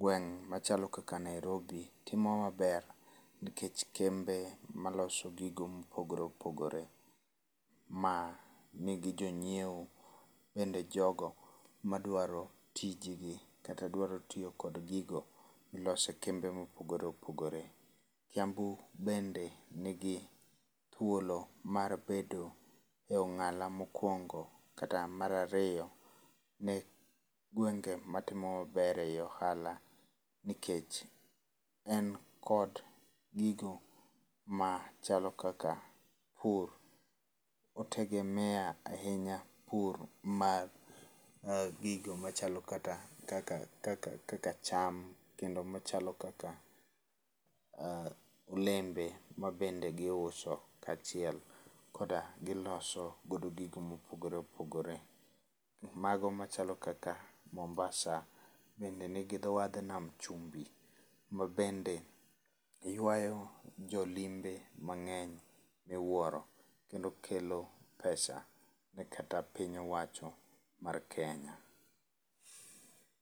Gweng' machalo kaka Nairobi timo maber nikech kembe maloso gigo mopogore opogore ma nigi jonyiewo bende jogo madwaro tije gi kata dwaro tiyo kod gigo miloso e kembe mopogore opogore. Kiambu bende nigi thuolo mar bedo e ong'ala mokuongo kata mar ariyo ne gwenge matimo maber ei ohala nikech en kod gigo machalo kaka pur. O tegemea ahinya pur mar gigo machalo kata kaka kaka kaka cham, kendo machalo kaka olembe ma bende giuso kachiel koda giloso godo gigo mopogore opogore. Mago machalo kaka Mombasa bende nigi dho wadh nam chumbi ma bende yuayo jo limbe mang'eny miwuoro kendo kelo pesa ne kata piny owacho mar Kenya.